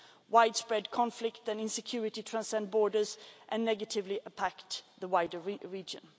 Widespread conflict and insecurity transcend borders and negatively impact the wider region.